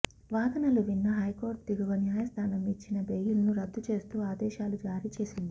వాదనలు విన్న హైకోర్టు దిగువ న్యాయస్థానం ఇచ్చిన బెయిల్ ను రద్దు చేస్తూ ఆదేశాలు జారీ చేసింది